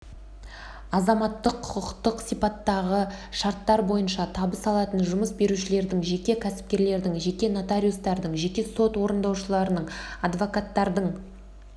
азаматтық-құқықтық сипаттағы шарттар бойынша табыс алатын жұмыс берушілердің жеке кәсіпкерлердің жеке нотариустардың жеке сот орындаушыларының адвокаттардың